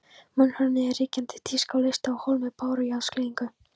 Múrhúðun var ríkjandi tíska og leysti af hólmi bárujárnsklæðningu.